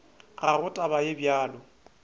ga go taba ye bjalo